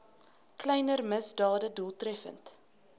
kleiner misdade doeltreffend